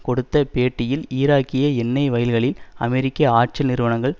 கொடுத்த பேட்டியில் ஈராக்கிய எண்ணெய் வயல்களில் அமெரிக்க ஆற்றல் நிறுவனங்கள்